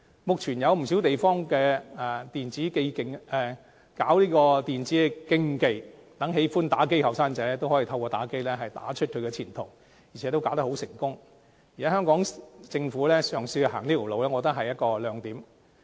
目前，不少地方舉辦電子競技，讓喜愛打機的年青人可透過打機打出前途，並能打得成功，如果香港政府嘗試走這條路，我覺得是一個亮點。